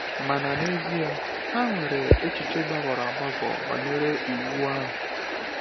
Mana n’ezie, ha nwere echiche gbagọrọ agbagọ banyere Iwu ahụ.